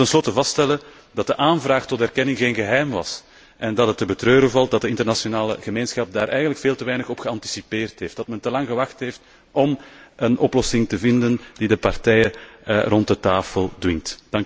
En laten we ten slotte vaststellen dat de aanvraag tot erkenning geen geheim was en dat het te betreuren valt dat de internationale gemeenschap daar eigenlijk veel te weinig op geanticipeerd heeft, dat men te lang gewacht heeft om een oplossing te vinden die de partijen rond de tafel dwingt.